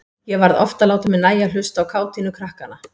Ég varð oft að láta mér nægja að hlusta á kátínu krakkanna.